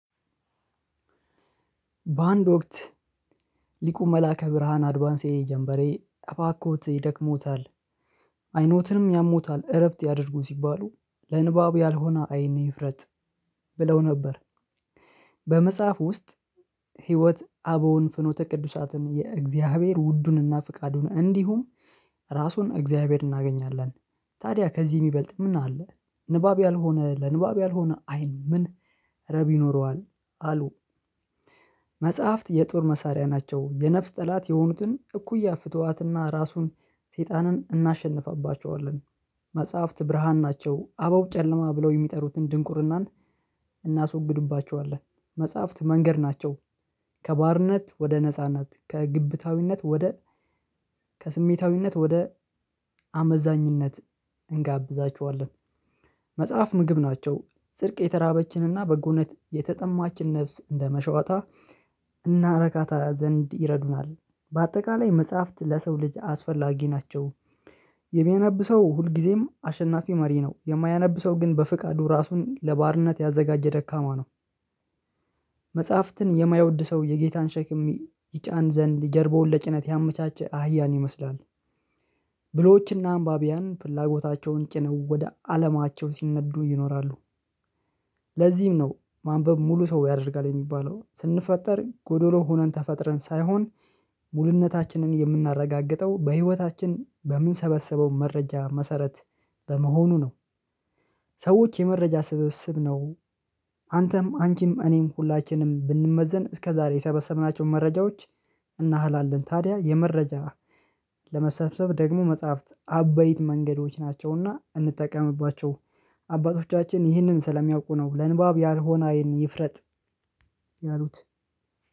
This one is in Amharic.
በአንድ ወቅት ሊቁ መላከ ብርሃን አድቫንሴ ጀምበሬ አባኮት ይደክሞታል አይኖትንም ያሞታል እረፍት ያድርጉ ሲባሉ ለንባብ ያልሆነ አይን ይፍረጥ ብለው ነበር። በመጽሐፉ ውስጥ ህይወት አበውን ፍኖተ ቅዱሳትን የእግዚአብሔር ውዱንና ፍቃዱን እንዲሁም ራሱን እግዚአብሔር እናገኛለን። ታዲያ ከዚህ የሚበልጥ ምን አለ? ንባብ ያልሆነ ለንባብ ያልሆነ አይን ምን ረቢ ይኖረዋል አሉ? መጽሐፍት የጦር መሳሪያ ናቸው የነፍስ ጠላት የሆኑትን እኩያ ፍጡራትና ራሱን ሰይጣንን እናሸንፋባቸዋለን። መጽሐፍት ብርሃን ናቸው አበው ጨለማ ብለው የሚጠሩትን ድንቁርናን እናስወግዱባቸዋለን። መጽሐፍት መንገድ ናቸው። ከባርነት ወደ ነጻነት ከግብታዊነት ወደ ከስሜታዊነት ወደ አመዛኝነት እንጋብዛችኋለን። መጽሐፍ ምግብ ናቸው ፅድቅ የተራበችንና በጎነት የተጠማችን ነፍስ እንደመሸወታ እናረካታ ዘንድ ይረዱናል። በአጠቃላይ መጽሐፍት ለሰው ልጅ አስፈላጊ ናቸው። የሚያነብ ሰው ሁልጊዜም አሸናፊ መሪ ነው። የማያነብ ሰው ግን በፍቃዱ ራሱን ለባርነት ያዘጋጀ ደካማ ነው። መጽሐፍትን የማይወድ ሰው የጌታን ሸክም ይጫን ዘንድ ጀርባውን ለጭነት ያመቻቸ አህያን ይመስላል። ብልሆችና አንባቢያን ፍላጎታቸውን ጭነው ወደ አለማቸው ሲነዱ ይኖራሉ። ለዚህም ነው ማንበብ ሙሉ ሰው ያደርጋል የሚባለውን ስንፈጠር ጎዶሎ ሆነን ተፈጥረን ሳይሆን ሙሉነታችንን የምናረጋግጠው በህይወታችን በምንሰበሰበው መረጃ መሰረት በመሆኑ ነው። ሰዎች የመረጃ ስብስብ ነው። አንተም አንቺም እኔም ሁላችንም ብንመዘን እስከ ዛሬ የሰበሰብናቸውን መረጃዎች እናህላለን ታዲያ የመረጃ ለመሰብሰብ ደግሞ መጽሐፍት አበይት መንገዶች ናቸውና እንጠቀምባቸው። አባቶቻችን ይህንን ስለሚያውቁ ነው ለንባብ ያልሆነ አይን ይፍረጥ ያሉት።